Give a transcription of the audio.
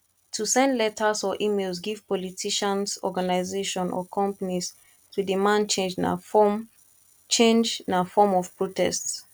to send letters or emails give politicians organisation or companies to demand change na form change na form of protest